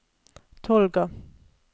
Tolga